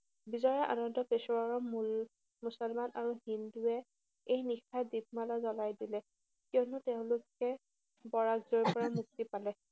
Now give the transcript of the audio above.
বিজয়ৰ আনন্দ পেছোৱাৰৰ মূল মুছলমান আৰু হিন্দুৱে এই নিশাই দীপমালা জ্বলাই দিলে। কিয়নো তেওঁলোকে বৰাজৰ পৰা মুক্তি পালে।